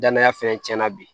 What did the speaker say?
Danaya fɛnɛ tiɲɛna bi